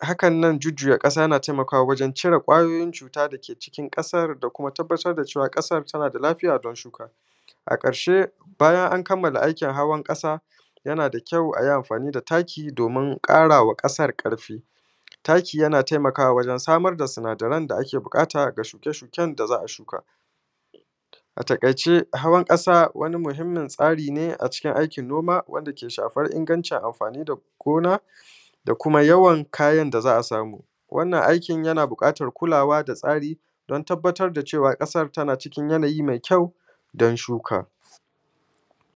hakan nan jujjuya ƙasa na taimakawa wajan cire ƙwayoyin cuta da ke cikin ƙasar da kuma tabbatar da cewa ƙasar ta na da lafiya don shuka a ƙarshe bayan an kammala aikin hawan ƙasa yana da kyau a yi amfa; ni da taki domin ƙara wa ƙasar ƙarfi taki yana taimakawa wajan samar da sinadarai da ake buƙata ga shuke shuken da za a shuka a taƙaice hawan ƙasa wani muhimmin tsari ne a cikin aikin noma wanda ke shafar ingancin amfani da gona da kuma yawan kayan da za a samu wannan aikin yana buƙatan kulawa da tsari don tabbatar da cewa ƙasar tana cikin yanayi mai kyau don shuka